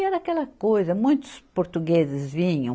E era aquela coisa, muitos portugueses vinham,